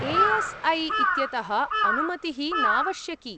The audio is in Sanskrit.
ए.एस्.ऐ इत्यतः अनुमतिः नावश्यकी।